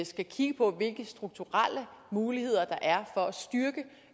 skal kigge på hvilke strukturelle muligheder der er for